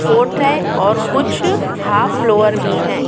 Fourth है और कुछ हाफ लोअर भी हैं।